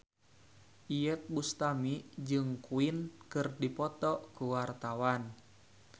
Iyeth Bustami jeung Queen keur dipoto ku wartawan